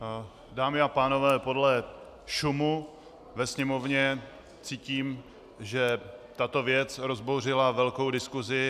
Dámy a pánové, podle šumu ve sněmovně cítím, že tato věc rozbouřila velkou diskusi.